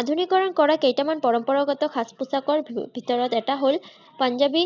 আধুনিকৰণ কৰা কেইটামান পৰম্পৰাগত সাজ-পোচাকৰ ভিতৰত এটা হল পাঞ্জাৱী